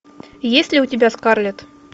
есть ли у тебя скарлетт